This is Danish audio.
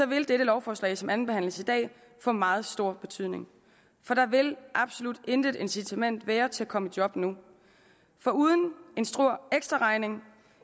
vil det her lovforslag som andenbehandles i dag få meget stor betydning for der vil absolut intet incitament være til at komme i job nu foruden at en stor ekstraregning